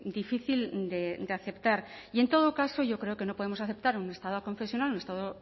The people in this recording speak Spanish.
difícil de aceptar y en todo caso yo creo que no podemos aceptar un estado aconfesional un estado